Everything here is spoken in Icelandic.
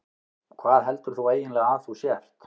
Hvað heldur þú eiginlega að þú sért?